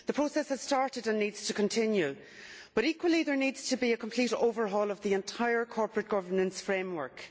The process has started and needs to continue, but equally there needs to be a complete overhaul of the entire corporate governance framework.